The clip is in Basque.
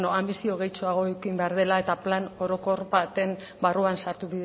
anbizio gehitxoago eduki behar dela eta plan orokor baten barruan sartu